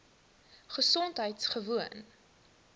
gesondheidgewoon